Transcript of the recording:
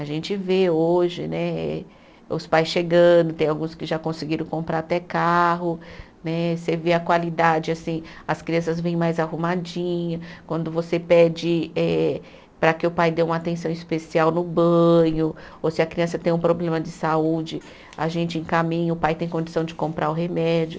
A gente vê hoje né, os pais chegando, tem alguns que já conseguiram comprar até carro né, você vê a qualidade assim, as crianças vêm mais arrumadinhas, quando você pede eh para que o pai dê uma atenção especial no banho, ou se a criança tem um problema de saúde, a gente encaminha, o pai tem condição de comprar o remédio.